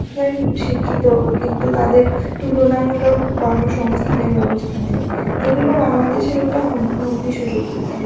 শিক্ষিত হইবো কিন্তু তাদের তুলনামূলক কর্মসংস্থানের ব্যবস্থা নেই যেগুলো বাংলাদেশের একটা হুম~ হুমকি স্বরূপ.